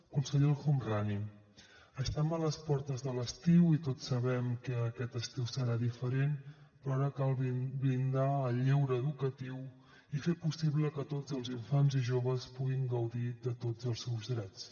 conseller el homrani estem a les portes de l’estiu i tots sabem que aquest estiu serà diferent però ara cal blindar el lleure educatiu i fer possible que tots els infants i joves puguin gaudir de tots els seus drets